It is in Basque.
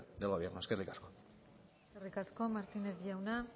del gobierno eskerrik asko eskerrik asko martínez jauna